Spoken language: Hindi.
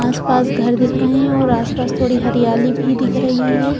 आस-पास घर दिख रहे हैं और आसपास थोड़ी हरियाली भी दिख रही है।